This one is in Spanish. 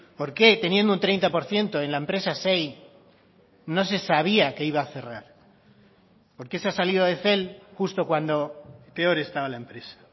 por qué teniendo un treinta por ciento en la empresa xey no se sabía que iba a cerrar por qué se ha salido de cel justo cuando peor estaba la empresa